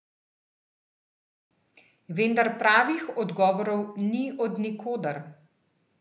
Vendar pravih odgovorov ni od nikoder.